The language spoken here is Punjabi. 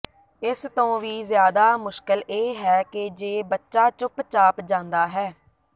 ਇਸ ਤੋਂ ਵੀ ਜ਼ਿਆਦਾ ਮੁਸ਼ਕਲ ਇਹ ਹੈ ਕਿ ਜੇ ਬੱਚਾ ਚੁੱਪ ਚਾਪ ਜਾਂਦਾ ਹੈ